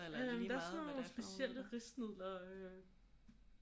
Øh der er sådan nogle specielle risnudler øh